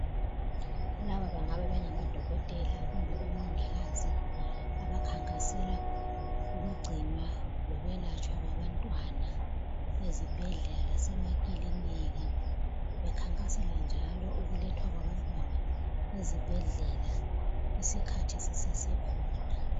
Laba bengabe bengamadokotela kumbe omongikazi abakhankasela ukugcinwa lokwelahlatshwa kwabantwana ezibhedlela lasemakilinika ,bekhankasela njalo ukulethwa kwabantwana ezibhedlela isikhathi sisesekhona.